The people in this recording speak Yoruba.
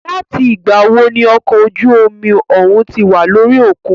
Láti ìgbà wo ní okọ̀ ojú omi òhún tí wà lórí òkun?